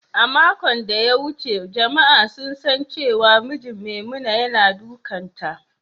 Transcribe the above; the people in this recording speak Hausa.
A makon ɗaya wuce jama’a sun san cewa mijin Maimuna yana dukanta.